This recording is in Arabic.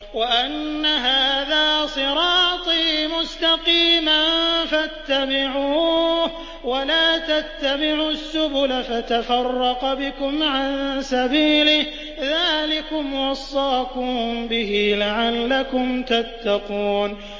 وَأَنَّ هَٰذَا صِرَاطِي مُسْتَقِيمًا فَاتَّبِعُوهُ ۖ وَلَا تَتَّبِعُوا السُّبُلَ فَتَفَرَّقَ بِكُمْ عَن سَبِيلِهِ ۚ ذَٰلِكُمْ وَصَّاكُم بِهِ لَعَلَّكُمْ تَتَّقُونَ